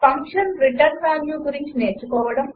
function return value గురించి నేర్చుకోవడం